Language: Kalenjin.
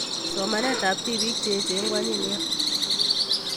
Somanet tab biik cheyechen ko anyiny nia